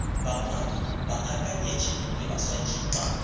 bangwadi baakanyetši le baswantšhi ba